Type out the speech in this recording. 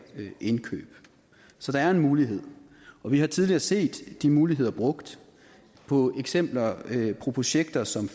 indkøb så der er en mulighed vi har tidligere set de muligheder brugt på projekter som